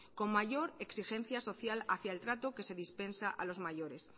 con mayor exigencia social hacia el trato que se dispensa a los mayores